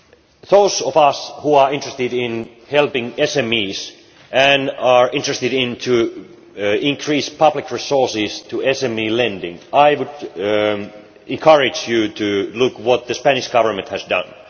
For those of us who are interested in helping SMEs and are interested in increased public resources for SME lending, I would encourage you to look at what the Spanish Government has done.